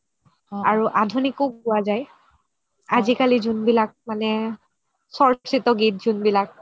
আৰু আধুনিকও গুৱা যাই আজিকালি যোনবিলাক মানে চৰ্চিত গীত যোনবিলাক